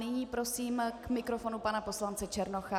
Nyní prosím k mikrofonu pana poslance Černocha.